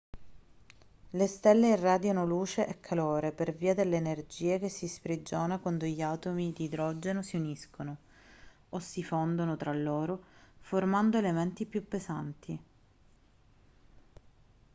le stelle irradiano luce e calore per via dell'energia che si sprigiona quando gli atomi di idrogeno si uniscono o si fondono tra loro formando elementi più pesanti